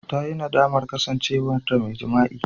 Ta yi nadamar kasancewarta mai jima'i.